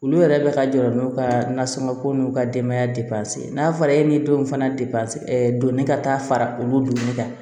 Olu yɛrɛ bɛ ka jɔrɔ n'u ka nasɔngɔ ko n'u ka denbaya n'a fɔra e ni denw fana donni ka taa fara olu kan